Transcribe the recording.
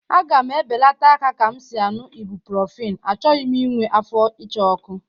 A ga m ebelata ka m si añụ ibuprofen, achọghị m inwe afọ ịcha ọkụ